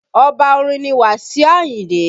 Oba orin ni Wasiu Ayinde